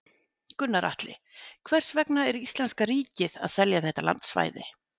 Gunnar Atli: Hvers vegna er íslenska ríkið að selja þetta landsvæði?